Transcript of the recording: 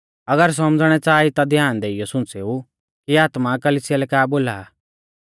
अगर सौमझ़णै च़ाहा ई ता ध्यान देइयौ सुंच़ेऊ कि आत्मा कलिसिया लै का बोला आ